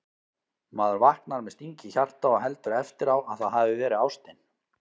Maður vaknar með sting í hjarta og heldur eftir á að það hafi verið ástin